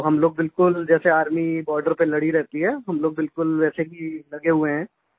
तो हम लोग बिलकुल जैसे आर्मी बॉर्डर पर लड़ी रहती है हम लोग बिलकुल वैसे ही लगे हुए हैं